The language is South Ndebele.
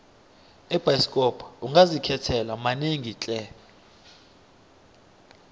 ebhayisikopo ungazikhethela manengi tle